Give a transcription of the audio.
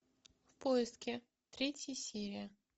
в поиске третья серия